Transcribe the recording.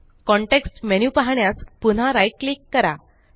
context menu पाहण्यास पुन्हा right click click करा